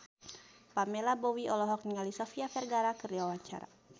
Pamela Bowie olohok ningali Sofia Vergara keur diwawancara